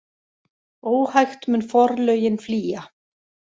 Óhægt mun forlögin flýja.